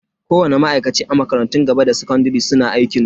Kowani ma'aikaci a makarantun gaba da sakandare suna da aikinsu.